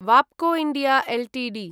Wabco India Ltd